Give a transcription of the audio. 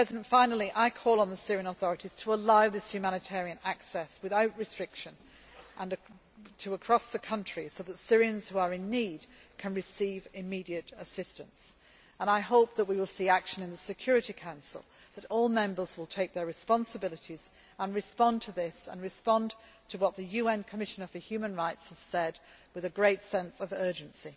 them. Finally, I call on the Syrian authorities to allow this humanitarian access without restriction and across the country, so that Syrians who are in need can receive immediate assistance. I hope that we will see action in the Security Council and that all members will take their responsibilities, respond to this and respond to what the UN Commissioner for Human Rights has said, with a great sense of urgency.